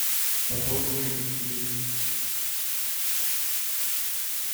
пополнить через киви